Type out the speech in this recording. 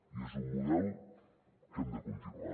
i és un model que hem de continuar